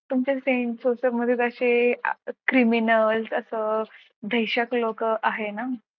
तुमच्या मध्ये असे criminal असं दहशत लोक आहेत ना.